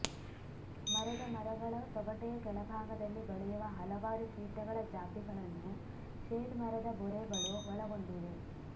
ಮರದ ಮರಗಳ ತೊಗಟೆಯ ಕೆಳಭಾಗದಲ್ಲಿ ಬೆಳೆಯುವ ಹಲವಾರು ಕೀಟಗಳ ಜಾತಿಗಳನ್ನು ಶೇಡ್ ಮರದ ಬೊರೆಗಳು ಒಳಗೊಂಡಿವೆ